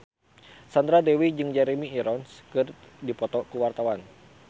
Sandra Dewi jeung Jeremy Irons keur dipoto ku wartawan